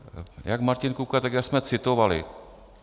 Jak Martin Kupka, tak já jsme citovali.